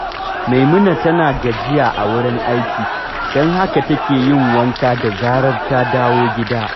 Maimuna tana gajiya a wurin aiki, don haka take yin wanka da zarar ta dawo gida